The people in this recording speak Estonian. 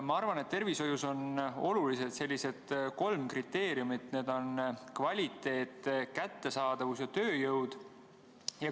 Ma arvan, et tervishoius on olulised kolm kriteeriumit, need on kvaliteet, kättesaadavus ja tööjõud.